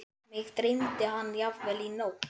Mig dreymdi hann jafnvel í nótt.